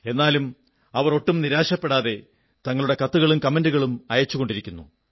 എന്നാലും അവർ ഒട്ടും നിരാശപ്പെടാതെ തങ്ങളുടെ കത്തുകളും കമന്റുകളും അയച്ചുകൊണ്ടിരിക്കുന്നു